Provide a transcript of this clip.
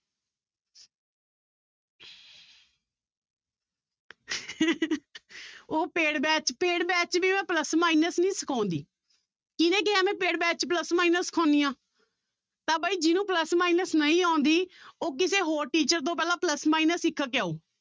ਉਹ paid batch paid batch 'ਚ ਵੀ ਮੈਂ plus minus ਨੀ ਸਿਖਾਉਂਦੀ, ਕਿਹਨੇ ਕਿਹਾ ਮੈਂ paid batch 'ਚ plus minus ਸਿਖਾਉਂਦੀ ਹਾਂ ਤਾਂ ਬਾਈ ਜਿਹਨੂੰ plus minus ਨਹੀਂ ਆਉਂਦੀ ਉਹ ਪਹਿਲਾਂ ਕਿਸੇ ਹੋਰ teacher ਤੋਂ ਪਹਿਲਾਂ plus minus ਸਿੱਖ ਕੇ ਆਓ।